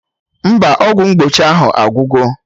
Mba, ọgwụ mgbochi ahụ agwugo